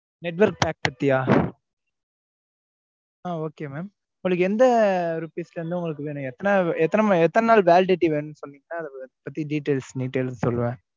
net work pack பாத்தியா? ஆம் okay mam உங்களுக்கு எந்த rupees ல இருந்து உங்களுக்கு வேணும் எத்தனை எத்தனை நாள் validity வேணுன்னு சொன்னீங்கன்னா அத பத்தி details detail ஆ சொல்லுவன்